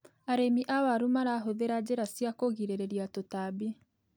Arĩmi a waru marahũthira njĩra cia kũgirĩrĩria tũtambi.